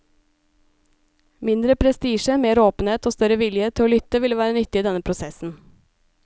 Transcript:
Mindre prestisje, mer åpenhet og større vilje til å lytte ville vært nyttig i denne prosessen.